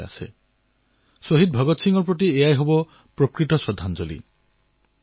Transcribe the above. এয়াই হব শ্বহীদ ভগৎ সিঙৰ প্ৰতি আমাৰ সবাতোকৈ বৃহৎ শ্ৰদ্ধাঞ্জলি